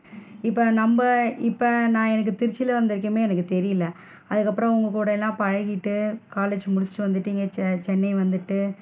இப்ப நம்ம இப்ப நான் எனக்கு திருச்சில வந்த வரைக்கும் எனக்கு தெரியல, அதுக்கு அப்பறம் உங்க கூடலா பழகிட்டு college முடிச்சிட்டு வந்துட்டு இங்க சென்னை வந்துட்டு,